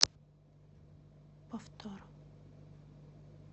повтор